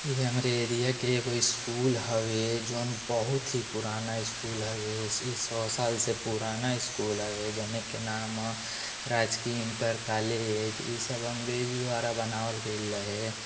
इ हमरे एरिया के एगो स्कूल हवे जउन बहुत ही पुराना स्कूल हवे इ सौ साल से पुराना स्कूल हवे जौना के नाम राजकीय इंटर कॉलेज इ सब अंग्रेज द्वारा बनावल गइल रहे।